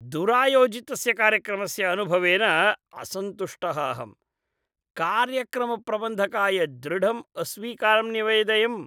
दुरायोजितस्य कार्यक्रमस्य अनुभवेन असन्तुष्टः अहं, कार्यक्रमप्रबन्धकाय दृढम् अस्वीकारं न्यवेदयम्।